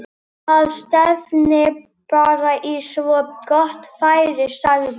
Það stefnir bara í svo gott færi sagði